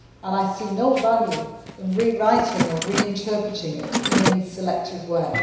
I see no value in re writing or re interpreting it in any selective way.